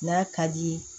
N'a ka di ye